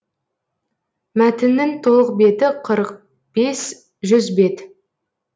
мәтіннің толық беті қырық бес жүз бет